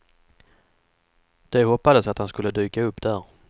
De hoppades att han skulle dyka upp där.